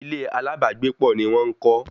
Ilé alábàágbépọ̀ ni wọ́n ń kọ́